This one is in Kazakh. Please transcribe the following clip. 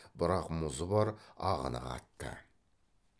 бірақ мұзы бар ағыны қатты